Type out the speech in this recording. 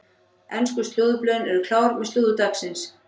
Ensku slúðurblöðin eru klár með slúður dagsins.